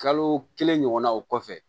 Kalo kelen ɲɔgɔnna o kɔfɛ